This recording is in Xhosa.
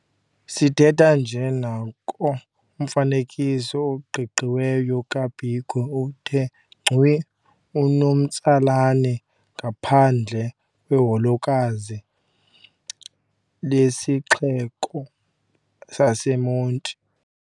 Sithetha nje nanko umfanekiso oqingqiweyo kaBiko uthe ngcu unomtsalane ngaphandle kweholokazi lesixeko saseMonti.